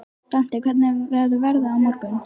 Dante, hvernig verður veðrið á morgun?